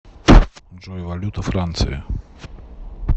джой валюта франции